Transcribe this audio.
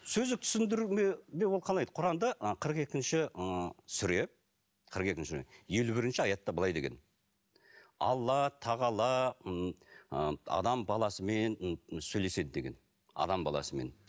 сөздік түсіндірмеде ол қалай құранда ы қырық екінші ы сүре қырық екінші сүре елу бірінші аятта былай деген алла тағала м ы адам баласымен сөйлеседі деген адам баласымен